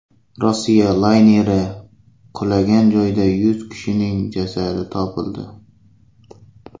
Rossiya layneri qulagan joyda yuz kishining jasadi topildi.